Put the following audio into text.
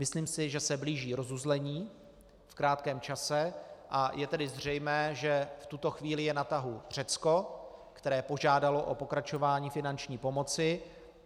Myslím si, že se blíží rozuzlení v krátkém čase, a je tedy zřejmé, že v tuto chvíli je na tahu Řecko, které požádalo o pokračování finanční pomoci.